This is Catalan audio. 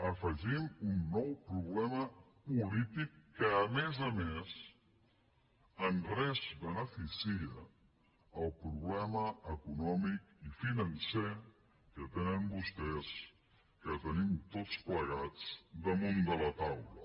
afegim un nou problema polític que a més a més en res beneficia el problema econòmic i financer que tenen vostès que tenim tots plegats damunt de la taula